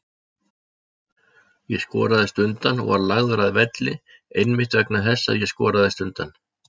Ég skoraðist undan og var lagður að velli einmitt vegna þess að ég skoraðist undan.